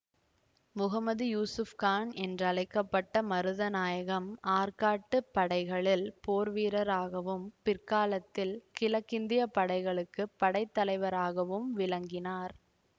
முகமது யூசுப் கான் என்றழைக்க பட்ட மருதநாயகம் ஆர்க்காட்டு படைகளில் போர் வீரராகவும் பிற்காலத்தில் கிழக்கிந்திய படைகளுக்கு படைத்தலைவராகவும் விளங்கினார்